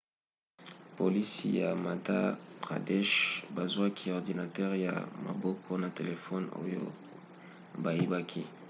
polisi ya madhya pradesh bazwaki ordinatere ya maboko na telefone oyo bayibaki